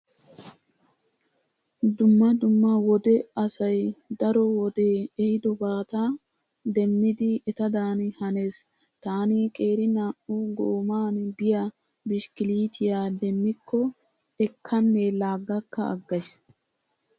Dumma dumma wode asay daro wodee ehidobata demmidi etadan hanees. Taani qeeri naa"u gooman biya bishkiliitiya demmikko ekkanne laaggakka aggays.